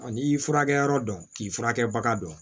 N'i furakɛyɔrɔ dɔn k'i furakɛbaga dɔn